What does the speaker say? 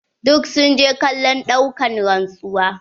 Duk sun je kallon ɗaukan rantsuwa